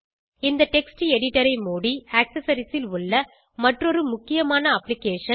இந்த text editor ஐ மூடி ஆக்செசரிஸ் ல் உள்ள மற்றொரு முக்கியமான அப்ளிகேஷன்